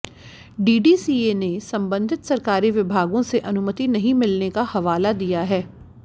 DDCA ने संबंधित सरकारी विभागों से अनुमति नहीं मिलने का हवाला दिया है